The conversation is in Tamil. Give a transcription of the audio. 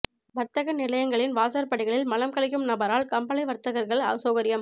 வர்த்தக நிலையங்களின் வாசற்படிகளில் மலம் கழிக்கும் நபரால் கம்பளை வர்த்தகர்கள் அசௌகரியம்